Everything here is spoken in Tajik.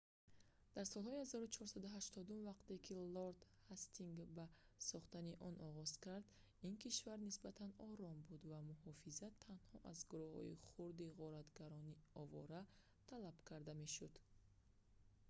дар солҳои 1480-ум вақте ки лорд ҳастингс ба сохтани он оғоз кард ин кишвар нисбатан ором буд ва муҳофизат танҳо аз гурӯҳҳои хурди ғоратгарони овора талаб карда мешуд